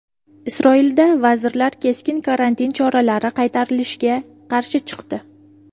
Isroilda vazirlar keskin karantin choralari qaytarilishiga qarshi chiqdi.